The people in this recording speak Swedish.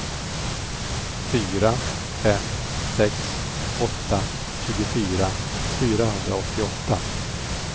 fyra fem sex åtta tjugofyra fyrahundraåttioåtta